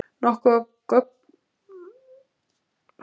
Nokkuð af göngunum gæti þó hafa orðið til við kvikuhlaup.